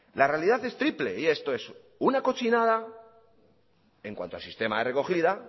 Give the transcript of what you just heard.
la realidad es triple y esto es una cochinada en cuanto al sistema de recogida